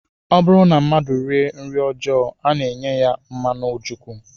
Ọ bụrụ na mmadụ rie nri ọjọọ, a na-enye ya mmanụ ojukwu